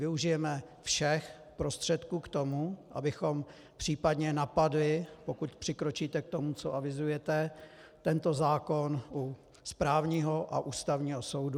Využijeme všech prostředků k tomu, abychom případně napadli, pokud přikročíte k tomu, co avizujete, tento zákon u správního a Ústavního soudu.